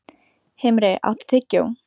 Himri, áttu tyggjó?